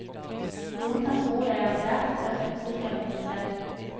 Noen kan tro jeg er svært så tøff og sikker på meg selv.